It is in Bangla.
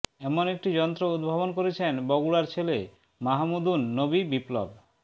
এমন একটি যন্ত্র উদ্ভাবন করেছেন বগুড়ার ছেলে মাহমুদুন নবী বিপ্লব